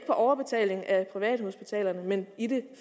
på overbetaling af privathospitalerne men i det